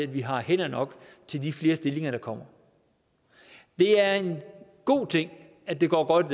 vi har hænder nok til de flere stillinger der kommer det er en god ting at det går godt